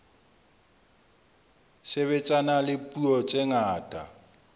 sebetsana le dipuo tse ngata